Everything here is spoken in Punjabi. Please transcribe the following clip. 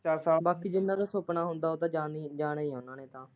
ਚੱਲ ਬਾਕੀ ਜਿੰਨਾਂ ਦਾ ਸੁਪਨਾ ਹੁੰਦਾ ਉਹ ਤਾਂ ਜਾਣੇ ਹੀ, ਜਾਣੇ ਈ ਏ ਨਾਲ।